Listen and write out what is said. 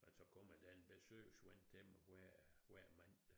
Og så kommer der en besøgsven til mig hver hver mandag